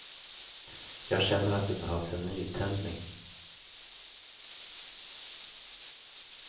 Jag känner att det behövs en nytändning.